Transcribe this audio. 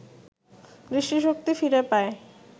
দৃষ্টিশক্তি ফিরে পায়